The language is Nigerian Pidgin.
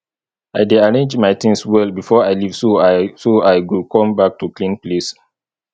i dey arrange my things well before i leave so i so i go come back to clean place